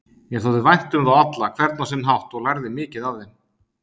Mér þótti vænt um þá alla, hvern á sinn hátt, og lærði mikið af þeim.